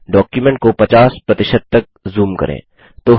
document को 50 तक zoom करें